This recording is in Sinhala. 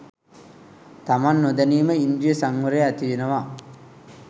තමන් නොදැනීම ඉන්ද්‍රිය සංවරය ඇතිවෙනවා